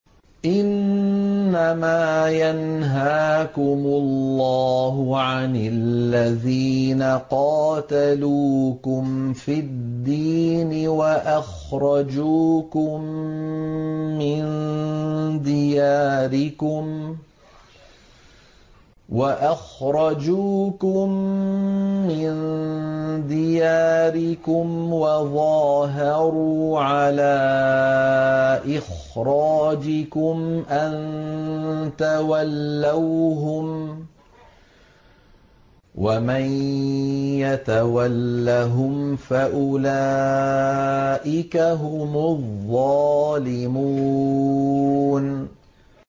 إِنَّمَا يَنْهَاكُمُ اللَّهُ عَنِ الَّذِينَ قَاتَلُوكُمْ فِي الدِّينِ وَأَخْرَجُوكُم مِّن دِيَارِكُمْ وَظَاهَرُوا عَلَىٰ إِخْرَاجِكُمْ أَن تَوَلَّوْهُمْ ۚ وَمَن يَتَوَلَّهُمْ فَأُولَٰئِكَ هُمُ الظَّالِمُونَ